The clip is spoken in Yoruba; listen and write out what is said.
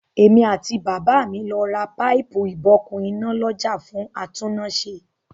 Èmi àti bàbá mi lọ ra páìpù-ìbokùn iná lọ́jà fún atúnnáṣe.